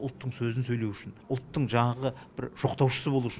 ұлттың сөзін сөйлеу үшін ұлттың жаңағы бір жоқтаушысы болу үшін